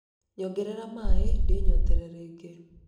nyongerera maĩ ndĩnyotore rĩngĩ